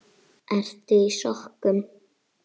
Ertu í sokkum?